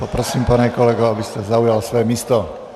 Prosím, pane kolego, abyste zaujal své místo.